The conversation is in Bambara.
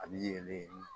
A bi yɛlɛ